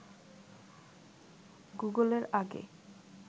গুগলের আগে